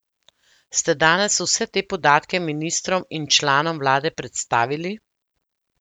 Ste danes vse te podatke ministrom in članom vlade predstavili?